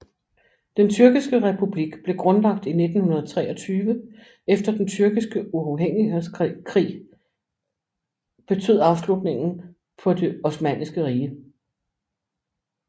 Den tyrkiske republik blev grundlagt i 1923 efter den Tyrkiske uafhængighedskrig betød afslutningen på det Osmanniske Rige